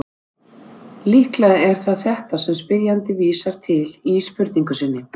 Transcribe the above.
Líklega er það þetta sem spyrjandi vísar til í spurningu sinni.